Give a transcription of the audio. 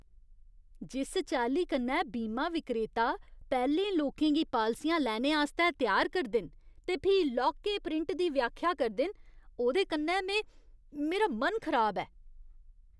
जिस चाल्ली कन्नै बीमा विक्रेता पैह्लें लोकें गी पालसियां लैने आस्तै त्यार करदे न ते फ्ही लौह्के प्रिंट दी व्याख्या करदे न, ओह्दे कन्नै में मेरा मन खराब ऐ।